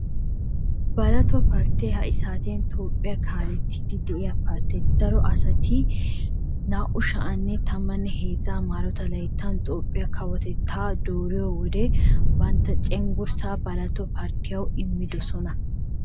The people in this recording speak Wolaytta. Baalotaa parttee ha saatiyan Toophphiya kaalettiiddi de'iya partte. Daro asati 2013 m.l Toophphiya kawotettaa dooriyo wode bantta cengurssaa baalotaa parttiyawu immidosona.